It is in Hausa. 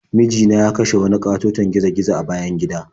Miji na ya kashe wani ƙatoton gizo-gizo a bayan gida.